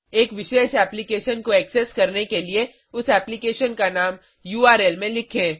एक विशेष एप्लीकेशन को एक्सेस करने के लिए उस एप्लीकेशन का नाम उर्ल में लिखें